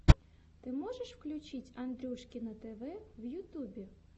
ты можешь включить андрюшкино тв в ютубе